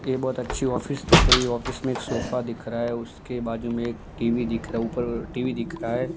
ये बहुत अच्छी ऑफिस दिख रही है ऑफिस में एक सोफा दिख रहा है उसके बाजू में एक टी_वी दिख रहा है ऊपर टी_वी दिख रहा है।